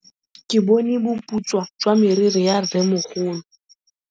Ke bone boputswa jwa meriri ya rrêmogolo.